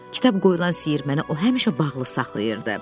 Kitab qoyulan siyir mənə o həmişə bağlı saxlayırdı.